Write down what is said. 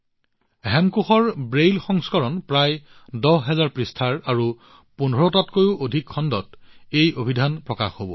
হেমকোষৰ Braille সংস্কৰণ প্ৰায় ১০ হাজাৰ পৃষ্ঠাৰ আৰু ইয়াক ১৫ টাতকৈও অধিক খণ্ডত প্ৰকাশ কৰা হব